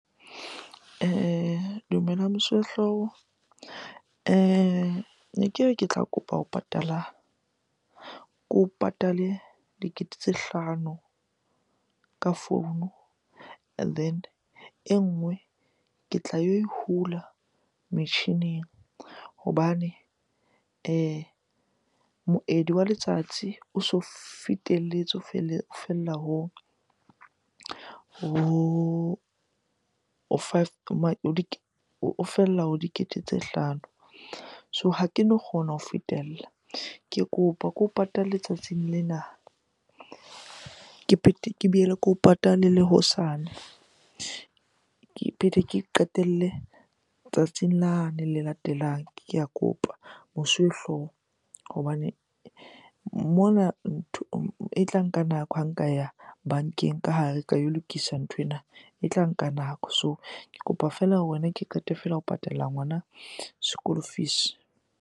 Dumelang mosuwehlooho. Ne ke re ke tla kopa ho patala, ko patale dikete tse hlano ka founu and then e nngwe ke tla yo e hula metjhining. Hobane moedi wa letsatsi o so fetelletse o fella o fella ho dikete tse hlano. So ha keno kgona ho fetella. Ke kopa ko patale letsatsing lena ke boele ke o patala le hosane, ke phete ke e qetelle tsatsing lane le latelang. Ke a kopa mosuwehlooho hobane mona e tla nka nako ha nka ya bankeng ka hare ka yo lokisa nthwena, e tla nka nako. So ke kopa feela ho wena ke qete fela ho patalla ngwana school fees.